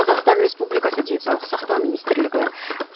қазақстан республикасы денсаулық сақтау министірлігі